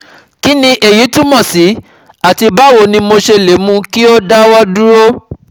Kí ni èyí túmọ̀ sí àti báwo ni mo ṣe lè mú kí ó dáwọ́ dúró?